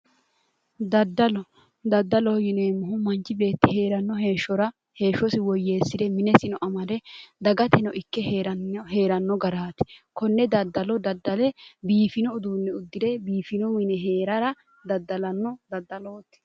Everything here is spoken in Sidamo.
daddalo daddaloho yineemmohu manchi beetti heeranno heeshshora heeshshosi woyyeessire minesino amade dagateno ikke heeranno garaati konne daddalo daddale biifino uduunne uddire biifino mine heerara daddalanno daddalooti.